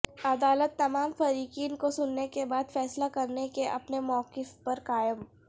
عدالت تمام فریقین کو سننے کے بعد فیصلہ کرنے کے اپنے موقف پر قائم